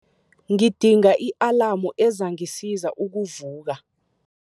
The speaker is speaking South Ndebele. Ngidinga i-alamu ezangisiza ukuvuka.